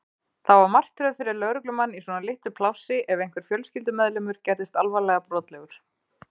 Það var martröð fyrir lögreglumann í svona litlu plássi ef einhver fjölskyldumeðlimur gerðist alvarlega brotlegur.